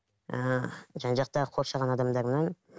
ыыы жан жақтағы қоршаған адамдарымнан